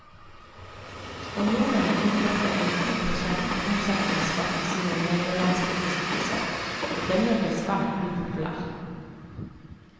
Spanjolene innførte en ti prosent omsetningsskatt i sine nederlandske besittelser, og denne ble svært upopulær.